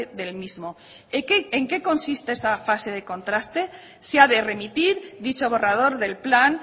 del mismo en qué consiste esa fase de contraste se ha de remitir dicho borrador del plan